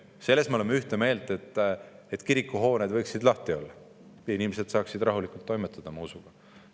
Selles me oleme ühte meelt, et kirikuhooned võiksid lahti olla ja inimesed saaksid rahulikult toimetada oma usuga.